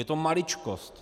Je to maličkost.